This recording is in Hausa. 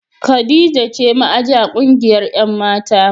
Khadijah ce ma'aji a kungiyar 'yan' mata.